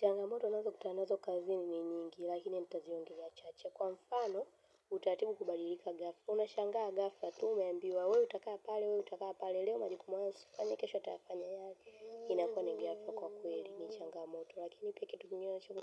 Changamoto nazokutana nazo kazini ni nyingi, lakini nitaongelea chache. Kwa mfano, utatimu kubadilika ghafla. Unashangaa ghafla, tu umeambiwa, wewe utakaa pale, wewe utakaa pale. Leo majiku mwanzo, kwa nikesho atafanya yali, inakuwa ni ghafla kwa kweli ni changamoto. Lakini kitu kingine chungu,